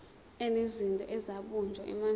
enezinto ezabunjwa emandulo